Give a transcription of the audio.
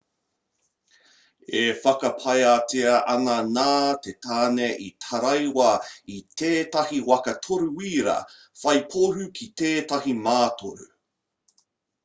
e whakapaetia ana nā te tāne i taraiwa i tētahi waka toru-wīra whai pohū ki tētahi mātoru